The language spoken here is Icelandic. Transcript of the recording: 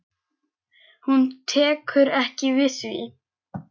Hún tekur ekki við því.